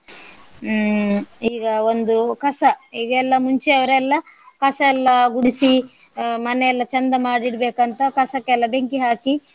ಹ್ಮ್ ಈಗ ಒಂದು ಕಸ ಈಗ ಎಲ್ಲ ಮುಂಚೆಯವರೆಲ್ಲ ಕಸ ಎಲ್ಲ ಗುಡಿಸಿ ಮನೆ ಎಲ್ಲ ಚಂದ ಮಾಡಿಡ್ಬೇಕಂತ ಕಸಕ್ಕೆಲ್ಲ ಬೆಂಕಿ ಹಾಕಿ.